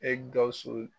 E gawusu